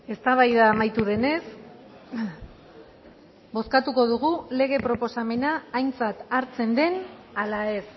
eztabaida amaitu denez bozkatuko dugu lege proposamena aintzat hartzen den ala ez